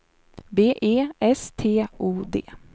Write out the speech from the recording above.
B E S T O D